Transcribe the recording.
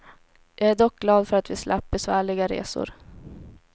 Jag är dock glad för att vi slapp besvärliga resor.